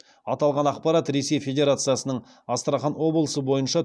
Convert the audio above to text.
аталған ақпарат ресей федерациясының астрахан облысы бойынша